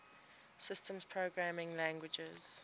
systems programming languages